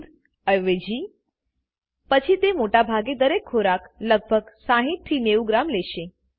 દૂધ અવેજી પછી તે મોટા ભાગે દરેક ખોરાક લગભગ 60 90 ગ્રામ લેશે